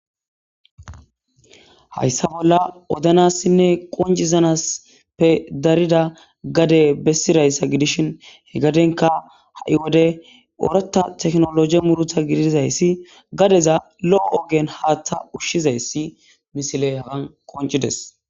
Hayssa bolla odanassinne qoncizanasppe darida gade bessirayssa gidishin he gadenka ha'i wode oreta teknologe murutha gidizayssi gadeza lo'o ogen haaththa ushshizayssi misile hagan qoncides.